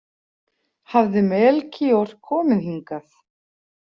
Hafði Melkíor komið hingað?